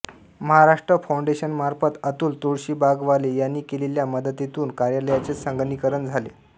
महाराष्ट्र फौंडेशनमार्फत अतुल तुळशीबागवाले यांनी केलेल्या मदतीतून कार्यालयाचे संगणकीकरण झाले